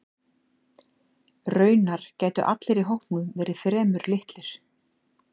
Raunar gætu allir í hópnum verið fremur litlir.